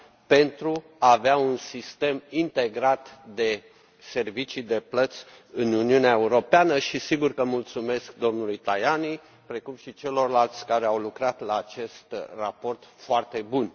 pentru a avea un sistem integrat de servicii de plăți în Uniunea Europeană și desigur că mulțumesc domnului Tajani, precum și celorlalți care au lucrat la acest raport foarte bun.